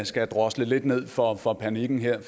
skal drosle lidt ned for for panikken her